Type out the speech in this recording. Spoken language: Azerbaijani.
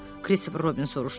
Krisif Robin soruşdu.